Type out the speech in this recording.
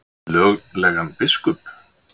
Við löglegan biskup?